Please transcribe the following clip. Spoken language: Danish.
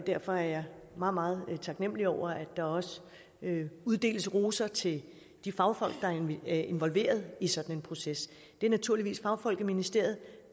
derfor er jeg meget meget taknemlig over at der også uddeles roser til de fagfolk der er involveret i sådan en proces det er naturligvis fagfolk i ministeriet